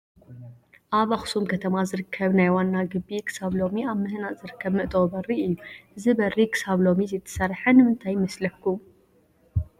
ኣብ ኣክሱም ከተማ ዝርከብ ናይ ዋና ግቢ ክሳብ ሎሚ ኣብ ምህናፅ ዝርከብ መእተዊ በሪ እዩ፡፡ እዚ በሪ ክሳብ ሎሚ ዘይተሰርሐ ንምንታይ ይመስለኩም?